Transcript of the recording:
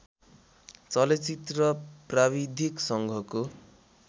चलचित्र प्राविधिक सङ्घको